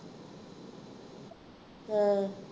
ਹਾਂ